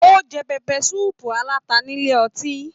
O jẹ pẹpẹ sùúpù alata nílé ọtí.